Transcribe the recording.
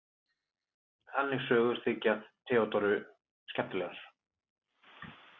Þannig sögur þykja Theodóru skemmtilegar.